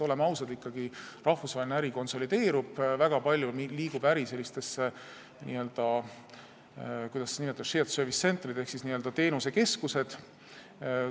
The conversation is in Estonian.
Oleme ikkagi ausad, rahvusvaheline äri konsolideerub, väga palju liigub äri sellistesse – kuidas neid nimetada – shared service center'itesse ehk n-ö teenusekeskustesse.